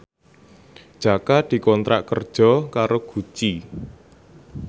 Jaka dikontrak kerja karo Gucci